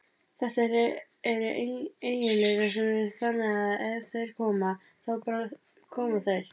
Þetta eru eiginleikar sem eru þannig að ef þeir koma, þá bara koma þeir.